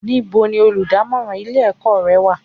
Níbo ni olùdámọ́ràn ilé ẹ̀kọ́ rẹ wà?